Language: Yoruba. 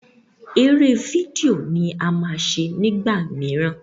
eré fídíò ní a má ṣe nigbamiran.